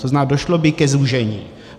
To znamená došlo by ke zúžení.